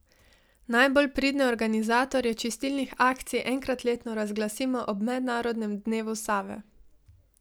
Najbolj pridne organizatorje čistilnih akcij enkrat letno razglasimo ob Mednarodnem dnevu Save.